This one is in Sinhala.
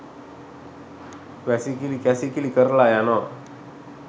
වැසිකිළි කැසිකිළි කරලා යනවා.